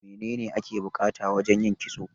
Me ne ne ake bukata wajan yin kitso?